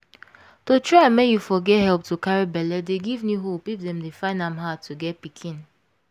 to try make you for get help to carry belle dey give new hope if them dey find am hard to get pikin